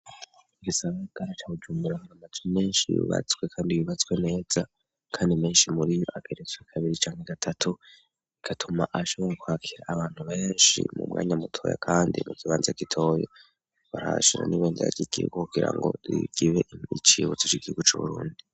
Igisabagarica kujaumuraramaze menshi yubatswe, kandi yubatswe neza, kandi menshi muri iyo ageretswe kabiri canke gatatu igatuma ahshabora kwhakira abantu benshi mu mwanya mutoya, kandi mu gibanza gitoyo barhashira nibe ntyagigiyko kugira ngo rigibe icibutso c' igiwu c'uburundi.